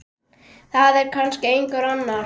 Það er kannski einhver annar.